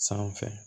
Sanfɛ